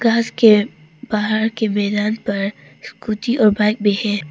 के बाहर के मैदान पर स्कूटी और बाइक भी है।